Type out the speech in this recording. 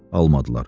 Almadılar.